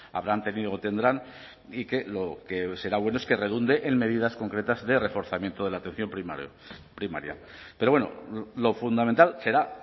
habrán tenido o tendrán y que lo que será bueno es que redunde en medidas concretas de reforzamiento de la atención primaria pero bueno lo fundamental será